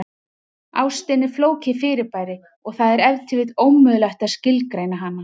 Ástin er flókið fyrirbæri og það er ef til vill ómögulegt að skilgreina hana.